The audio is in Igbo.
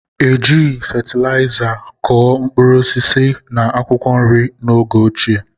E jighị fatịlaịza kụ mkpụrụ osisi na akwụkwọ nri n'oge ochie